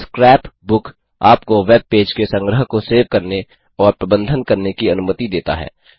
scrap book आप को web page के संग्रह को सेव करने और प्रबंधन करने की अनुमति देता है